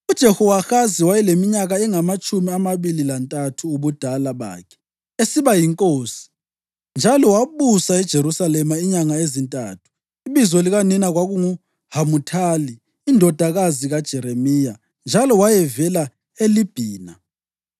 UJehowahazi wayeleminyaka engamatshumi amabili lantathu ubudala bakhe esiba yinkosi, njalo wabusa eJerusalema inyanga ezintathu. Ibizo likanina kwakunguHamuthali indodakazi kaJeremiya njalo wayevela eLibhina.